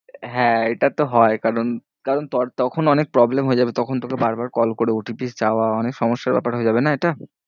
হ্যাঁ এটা তো হয় কারণ, কারণ তখন অনেক problem হয়ে যাবে। তখন তোকে বার বার call করে OTP চাওয়া অনেক সমস্যার ব্যাপার হয়ে যাবে না এটা।